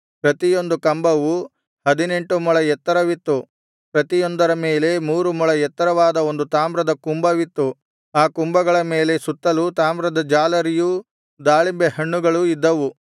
ಪ್ರತಿಯೊಂದು ಕಂಬವು ಹದಿನೆಂಟು ಮೊಳ ಎತ್ತರವಿತ್ತು ಪ್ರತಿಯೊಂದರ ಮೇಲೆ ಮೂರು ಮೊಳ ಎತ್ತರವಾದ ಒಂದು ತಾಮ್ರದ ಕುಂಭವಿತ್ತು ಆ ಕುಂಭಗಳ ಮೇಲೆ ಸುತ್ತಲೂ ತಾಮ್ರದ ಜಾಲರಿಯೂ ದಾಳಿಂಬೆ ಹಣ್ಣುಗಳೂ ಇದ್ದವು